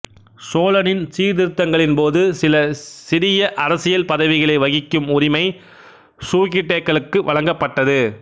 சோலனின் சீர்திருத்தங்களின் போது சில சிறிய அரசியல் பதவிகளை வகிக்கும் உரிமை சூகிடேக்களுக்கு வழங்கப்பட்டது